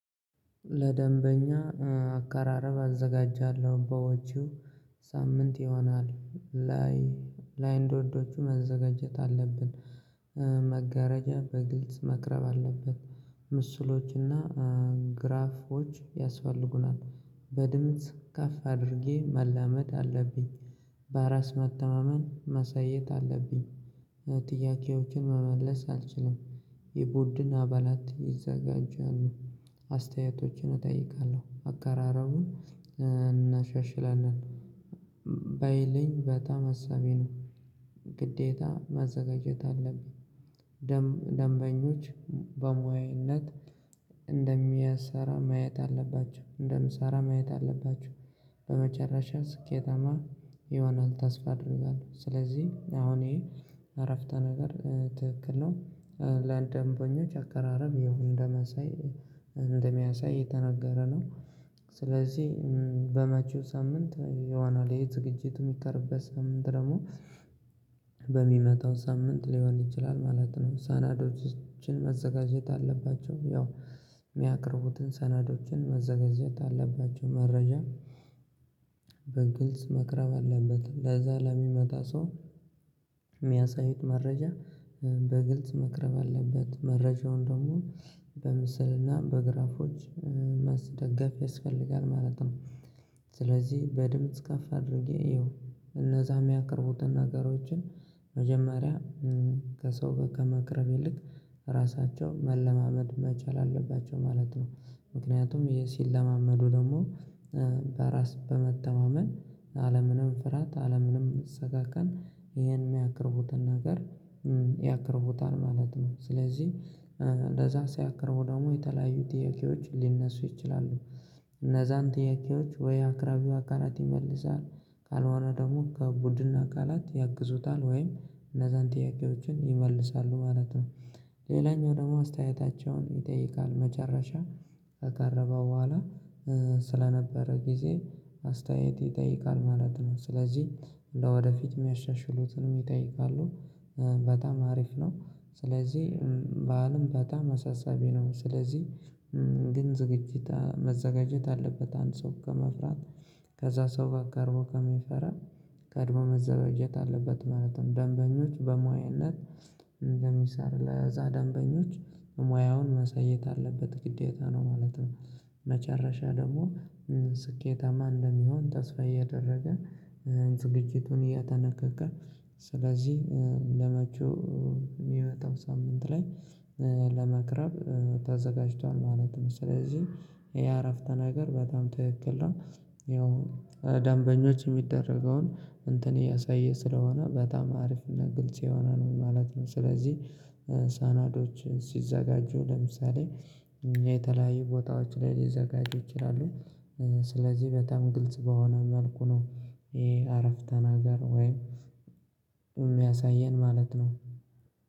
ለደንበኛ አቀራረብ አዘጋጃለሁ በወጪው ሳምንት ይሆናል ላይ ላይ እንደውዶቹ መዘጋጀት አለብን። መጋረጃ በግልጽ መቅረብ አለበት። ምስሎችና ግራፎች ያስፈልጉናል። በድምጽ ከፍ አድርጌ መላመድ አለብኝ። በራስ መተማመን መሳየት አለብኝ ጥያቄዎችን መመለስ አልችልም። የቡድን አባላት ይዘጋጃሉ። አስተያየቶችን እጠይቃለሁ አቀራረቡን እናሻሽለን። ባይልኝ በጣም ሀሳቤ ነው። ግዴታ ማዘጋጀት አለብኝ። ደንበኞች በሙያነት እንደሚያሰራ ማየት አለባችሁ እንደምሰራ ማየት አለባችሁ። በመጨረሻ ስኬታማ ይሆናል ተስፋ አደርጋለሁ። ስለዚህ አሁን ይሄ እረፍተ ነገር ትክክል ነው። ለአንድ ደንበኞች አቀራረብ ይሁን እንደመሳይ እንደሚያሳይ የተነገረ ነው። ስለዚህ በመጪው ሳምንት ይሆናል ይሄ ዝግጅት የሚቀርብበት ሳምንት ደግሞ በሚመጣው ሳምንት ሊሆን ይችላል ማለት ነው። ሰነዶችን መዘጋጀት አለባቸው ያው። የሚያቅርቡትን ሰነዶችን መዘጋጀት አለባቸው። መረጃ በግልጽ መቅረብ አለበት። ለዛ ለሚመጣ ሰው የሚያሳዩት መረጃ በግልጽ መቅረብ አለበት። መረጃውን ደግሞ በምስልና በግራፎች ማስደገፍ ያስፈልጋል ማለት ነው። ስለዚህ በድምጽ ካፍ አድርጌ እየው እነዛ የሚያቀርቡትን ነገሮችን መጀመሪያ ከሰው ከመቅረብ ይልቅ ራሳቸው መለማመድ መቻል አለባቸው ማለት ነው። ምክንያቱም ይሄ ሲለማመዱ ደግሞ በራስ በመተማመን አለምንም ፍራት አለምንም ሰቀቀን ይሄን የሚያቀርቡትን ነገር ያቀርቡታል ማለት ነው። ስለዚህ እንደዛ ሲያቀርቡ ደግሞ የተለያዩ ጥያቄዎች ሊነሱ ይችላሉ። እነዛን ጥያቄዎች ወይ አቅራቢው አካላት ይመልሳል ካልሆነ ደግሞ ከቡድን አካላት ያግዙታል ወይም እነዛን ጥያቄዎችን ይመልሳሉ ማለት ነው። ሌላኛው ደግሞ አስተያየታቸውን ይጠይቃል መጨረሻ ከቀረበው በኋላ ስለነበረ ጊዜ አስተያየት ይጠይቃል ማለት ነው። ስለዚህ እንደው ወደፊት የሚያሻሽሉትንም ይጠይቃሉ። በጣም አሪፍ ነው። ስለዚህ በአለም በጣም አሳሳቢ ነው። ስለዚህ ግን ዝግጅት መዘጋጀት አለበት። አንድ ሰው ከመፍራት ከዛ ሰው ጋር ቀርቦ ከሚፈራ ቀድሞ መዘጋጀት አለበት ማለት ነው። ደንበኞች በሙያነት እንደሚሰራ ለዛ ደንበኞች ሙያውን ማሰየት አለበት ግዴታ ነው ማለት ነው። መጨረሻ ደግሞ ስኬታማ እንደሚሆን ተስፋ እያደረገ ዝግጅቱን እያተነቀቀ ስለዚህ ለመጪው የሚመጣው ሳምንት ላይ ለመቅረብ ተዘጋጅቷል ማለት ነው። ስለዚህ ይሄ አረፍተ ነገር በጣም ትክክል ነው። ያው ደንበኞች የሚደረገውን እንትን እያሳየ ስለሆነ በጣም አሪፍና ግልጽ የሆነ ነው ማለት ነው። ስለዚህ ሰነዶች ሲዘጋጁ ለምሳሌ እኛ የተለያዩ ቦታዎች ላይ ሊዘጋጁ ይችላሉ። ስለዚህ በጣም ግልጽ በሆነ መልኩ ነው። ይሄ አረፍተ ነገር ወይም የሚያሳየን ማለት ነው።